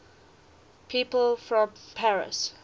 people from paris